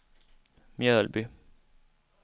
Mjölby